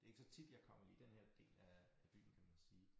Det ikke så tit jeg kommer i denne her del af af byen kan man sige